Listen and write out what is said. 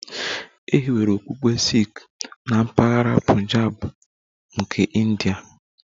E hiwere okpukpe Sikh na mpaghara Punjab nke India